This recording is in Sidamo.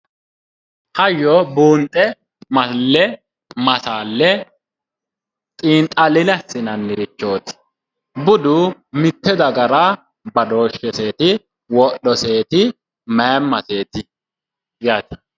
Hayyo buunxe,,malle, masaaale xiinxalline assinanirichoti. budu mite dagara badoosheseti wodhoseeti ,mayyiimaseti yaate.